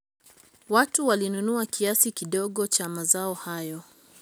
watu walinunua kiasi kidogo cha mazao hayo